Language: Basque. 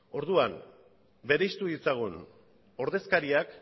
orduan berezitu ditzagun ordezkariak